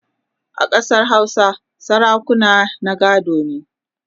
a Ƙasar Hausa sarakunan na gado ne